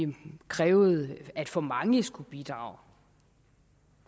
krævede at for mange skulle bidrage